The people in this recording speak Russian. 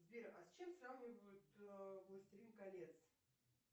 сбер а с чем сравнивают властелин колец